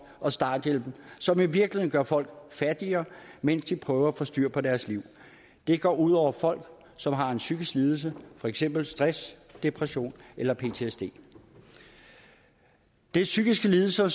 og starthjælpen som i virkeligheden gør folk fattigere mens de prøver at få styr på deres liv det går ud over folk som har en psykisk lidelse for eksempel stress depression eller ptsd det er psykiske lidelser